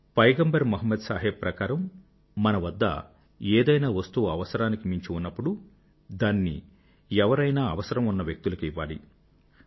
పైగంబర్ మొహమ్మద్ సాహెబ్ ప్రకారం మన వద్ద ఏదైనా వస్తువు అవసరానికి మించి ఉన్నప్పుడు దానిని ఎవరైనా అవసరం ఉన్న వ్యక్తులకు ఇవ్వాలి